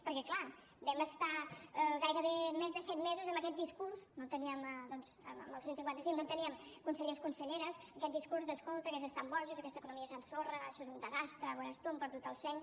perquè clar vam estar gairebé més de set mesos amb aquest discurs amb el cent i cinquanta cinc no teníem consellers conselleres aquest discurs de escolta aquests estan bojos aquesta economia s’ensorra això és un desastre veuràs tu han perdut el seny